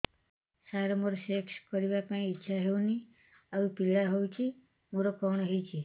ସାର ମୋର ସେକ୍ସ କରିବା ପାଇଁ ଇଚ୍ଛା ହଉନି ଆଉ ପୀଡା ହଉଚି ମୋର କଣ ହେଇଛି